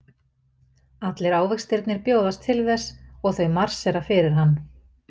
Allir ávextirnir bjóðast til þess og þau marsera fyrir hann.